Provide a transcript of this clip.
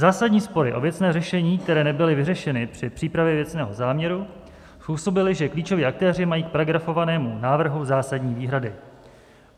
Zásadní spory o věcné řešení, které nebyly vyřešeny při přípravě věcného záměru, způsobily, že klíčoví aktéři mají k paragrafovanému návrhu zásadní výhrady.